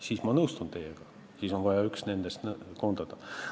Siis ma nõustun teiega, et on vaja üks nendest koondada.